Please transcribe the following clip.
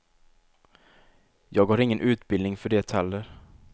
Jag har ingen utbildning för det heller.